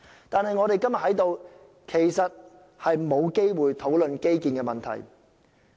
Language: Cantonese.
但是，我們今天在此沒有機會討論基建的問題。